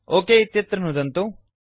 okay इत्यत्र नुदन्तु